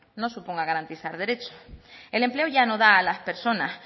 no suponga garantizar derechos el empleo ya no da a las personas